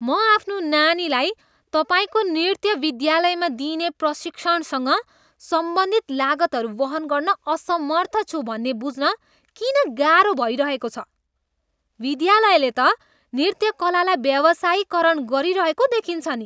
म आफ्नो नानीलाई तपाईँको नृत्य विद्यालयमा दिइने प्रशिक्षणसँग सम्बन्धित लागतहरू वहन गर्न असमर्थ छु भन्ने बुझ्न किन गाह्रो भइरहेको छ? विद्यालयले त नृत्य कलालाई व्यावसायीकरण गरिरहेको देखिन्छ नि।